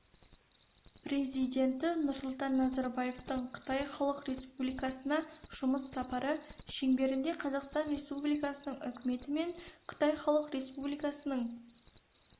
президенті нұрсұлтан назарбаевтың қытай халық республикасына жұмыс сапары шеңберінде қазақстан республикасының үкіметі мен қытай халық республикасының